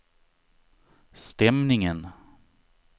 stämningen